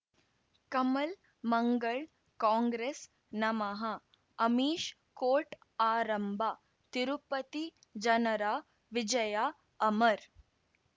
ಕಮಲ್ ಮಂಗಳ್ ಕಾಂಗ್ರೆಸ್ ನಮಃ ಅಮಿಷ್ ಕೋರ್ಟ್ ಆರಂಭ ತಿರುಪತಿ ಜನರ ವಿಜಯ ಅಮರ್